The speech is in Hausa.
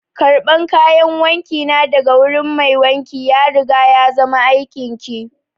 Karban kayan wanki na daga wurin mai wanki ya riga ya zama aikin ki!